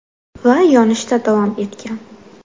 Va yonishda davom etgan.